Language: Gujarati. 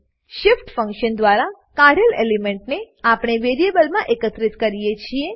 shift ફંકશન દ્વારા કાઢેલ એલિમેન્ટને આપણે વેરીએબ્લમાં એકત્રિત કરીએ છીએ